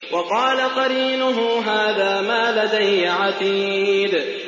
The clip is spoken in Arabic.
وَقَالَ قَرِينُهُ هَٰذَا مَا لَدَيَّ عَتِيدٌ